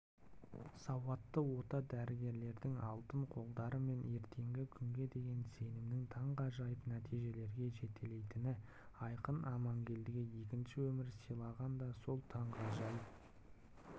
сауатты ота дәрігерлердің алтын қолдары мен ертеңгі күнге деген сенімнің таңғажайып нәтижелерге жетелейтіні айқын амангелдіге екінші өмір сыйлаған да сол таңғажайып